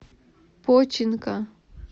починка